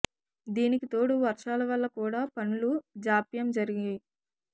దీనికి తోడు వర్షాల వల్ల కూడా పనులు జాప్యం జరిగాయి